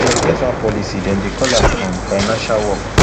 dem get one policy dem dey call am um financial work